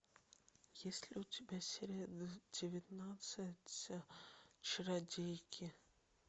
есть ли у тебя серия девятнадцать чародейки